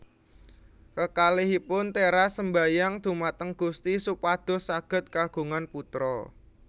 Kekalihipun teras sembayang dhumateng Gusti supados saged kagungan putra